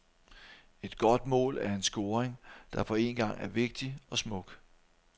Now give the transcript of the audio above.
Et godt mål er en scoring, der på en gang er vigtig og smuk.